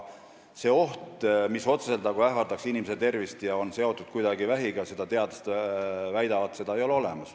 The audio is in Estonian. Seda ohtu aga, mis otseselt ähvardaks inimese tervist ja oleks kuidagi seotud vähi tekkega, ei ole teadlaste väitel olemas.